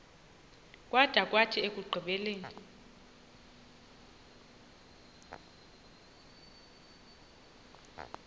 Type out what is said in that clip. kwada kwathi ekugqibeleni